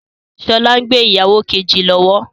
Sọlá ń ṣe ìgbéyàwó kejì lọ́wọ́